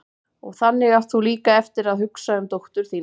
Og þannig átt þú líka eftir að hugsa um dóttur þína.